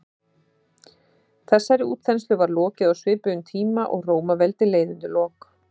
þessari útþenslu var lokið á svipuðum tíma og rómaveldi leið undir lok